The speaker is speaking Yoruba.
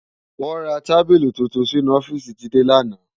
Wò rá tábìlí tútún sinú òfìsí Jide làná